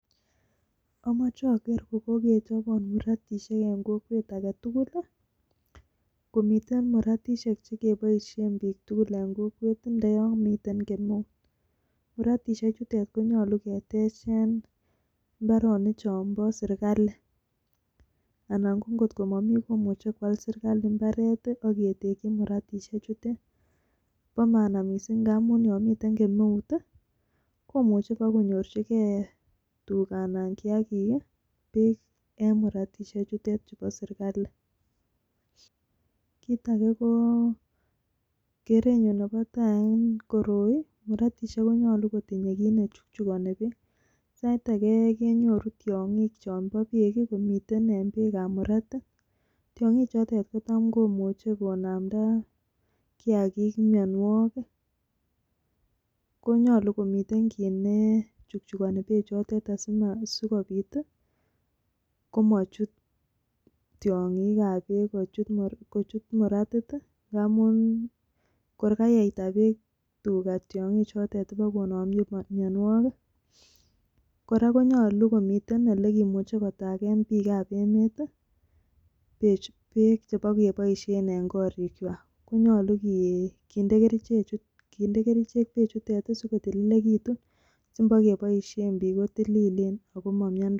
Omoche oger kogkechobot muratishek en kokwet age tugul. Komiten muratishek chekeboisien biik tugule ne kokwet ndoyon miten kemeut. Muratishechuto konyolu ketech en mbaroik chonbo serkalit, anan ngot ko momi mbaret, komuche koal sirkalit ak ketekchi muratishechutet. Bo maana mising ngamun yon miten kemeut komuche kobakonyorjige tuga anan kiyagik beek en muratishek chutet chubo serkalit. Kit age ko kerenyun nebo tai en koroi, muratishek konyolu kotinye kit ne chukchukoni beek. Sait age kenyoru tiong'ik chebo beek komiten beekab muratit. Tieng'ik chotet kotam komuche konamda kiyagik myonwogik. Ko nyole komiten kit ne chukchukoni beek choteto asikobiit komochut tiong'ik ab beek kochut muratit ngamun kor kayeita beek tuga tiong'ik chotet kobokonome mianwogik. Kora konyolu komiten ele kimuche kotagen beek biikab emet beek che bokeboishen en korikwak. Ko nyolu kinde kerichek bechutet asi kotililegetun. Asingebokeboishen biik kotililen.